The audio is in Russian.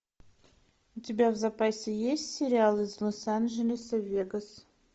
у тебя в запасе есть сериал из лос анджелеса в вегас